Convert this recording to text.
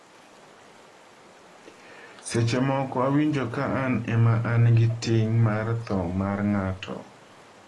“Seche moko awinjo ka an ema an gi ting’ mar tho mar ng’ato.”